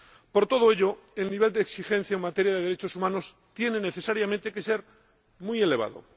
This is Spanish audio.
Por todo ello, el nivel de exigencia en materia de derechos humanos tiene necesariamente que ser muy elevado.